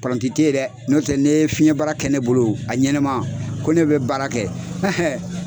Paranti tɛ yen dɛ, n'o tɛ n'e ye fiɲɛ baara kɛ ne bolo a ɲɛnama ko ne bɛ baara kɛ